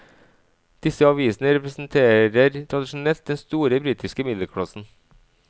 Disse avisene representerer tradisjonelt den store britiske middelklassen.